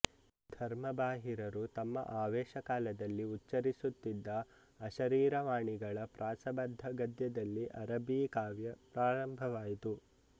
ಧರ್ಮಬಾಹಿರರು ತಮ್ಮ ಆವೇಶಕಾಲದಲ್ಲಿ ಉಚ್ಚರಿಸುತ್ತಿದ್ದ ಅಶರೀರವಾಣಿಗಳ ಪ್ರಾಸಬದ್ಧ ಗದ್ಯದಲ್ಲಿ ಅರಬೀ ಕಾವ್ಯ ಪ್ರಾರಂಭವಾಯಿತು